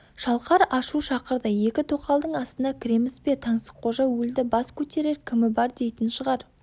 шалқар ашу шақырды екі тоқалдың астына кіреміз бе таңсыққожа өлді бас көтерер кімі бар дейтін шығар